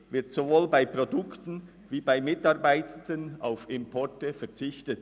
Womöglich wird sowohl bei Produktion als auch bei Mitarbeitenden auf Importe verzichtet.